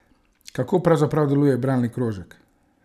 Kako pravzaprav deluje bralni krožek?